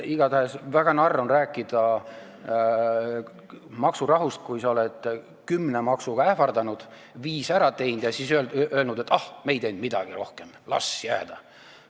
Igatahes väga narr on rääkida maksurahust, kui sa oled kümne maksuga ähvardanud, viis ära teinud ja siis öelnud, et ah, me ei teinud midagi rohkem, las jääda.